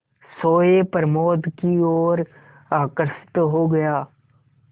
सोए प्रमोद की ओर आकर्षित हो गया